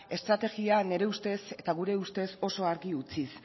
estrategia nire ustez eta gure ustez oso argi utziz